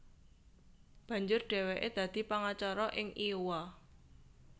Banjur dhèwèké dadi pangacara ing Iowa